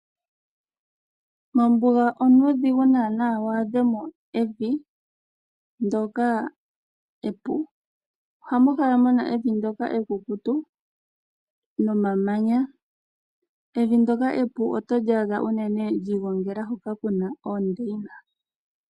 Mombuga onuudhigu naanaa waadhemo evi ndyoka epu. Ohamu kala muna evi ndyoka ekukutu nomamanya. Evi ndyoka epu oto li adha unene lyiigongela hoka kuna oondeyina.